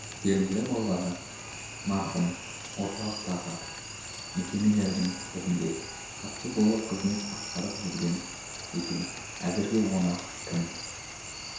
белгілі болғаны марқұм орталықтағы мекемелердің бірінде хатшы болып қызмет атқарып жүрген екен әзірге оны кім